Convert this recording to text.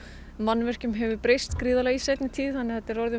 mannvirkjum hefur breyst gríðarlega í seinni tíð þannig að þetta er orðin